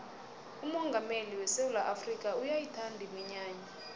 umongameli wesewula afrikha uyayithanda iminyanya